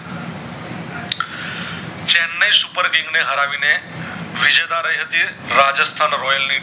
Chennai supper king ને હરાવી ને વિજેતા રય હતી રાજેસ્થાન royal